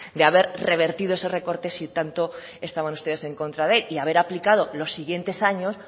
de haber revertido ese recorte si tanto estaban ustedes en contra de él y haber aplicado los siguientes años